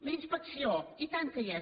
la inspecció i tant que hi és